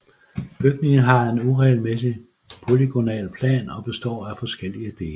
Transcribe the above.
Bygningen har en uregelmæssig polygonal plan og består af forskellige dele